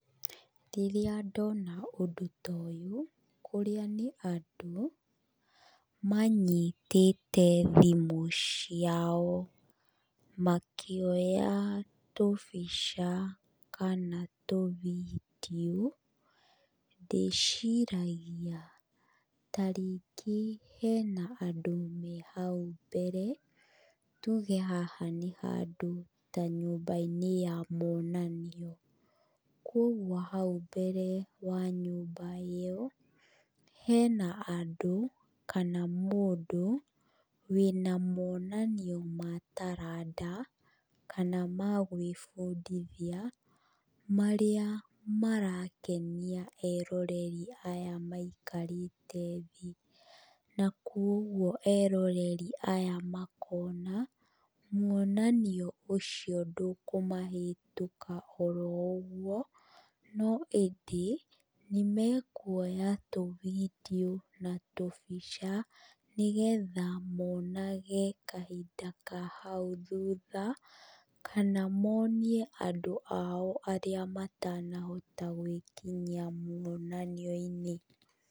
Rĩrĩa ndona ũndũ ta ũyũ, kũrĩa nĩ andũ, manyitĩte thimũ ciao, makĩoya tũbica, kana tũ video ndĩciragia tarĩngĩ hena andũ me hau mbere, tuge haha nĩ handũ ta nyũmbainĩ ya monanio, koguo hau mbere wa nyũmba ĩyo, hena andũ, kana mũndũ, wĩna monanio ma taranda, kana magĩbũndithia, marĩa marakenia eroreri aya maikarĩte thĩ. Na koguo eroreri aya makona, mwonanio ũcio ndũkũmahĩtũka oro ũguo, no ĩndĩ, nĩmekũoya tũ video na tũbica, nĩgetha monage kahinda ka hau thutha, kana monie andũ ao arĩa matanahota gwĩkinyia monanioinĩ.